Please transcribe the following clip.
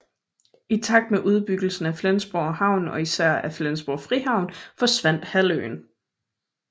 I takt med udbyggelsen af Flensborg Havn og især af Flensborgs frihavn forsvandt halvøen